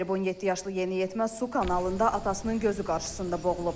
17 yaşlı yeniyetmə su kanalında atasının gözü qarşısında boğulub.